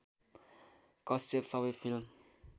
कश्यप सबै फिल्म